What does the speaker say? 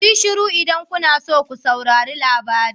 Kuyi shiru idan kuna so ko saurari labari na.